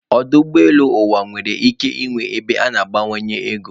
Ọdụ ụgbọ elu mba ụwa nwere ike ịnwe ebe a ga-agbanwe ego